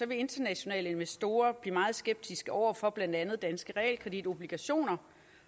internationale investorer blive meget skeptiske over for blandt andet danske realkreditobligationer